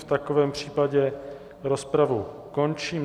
V takovém případě rozpravu končím.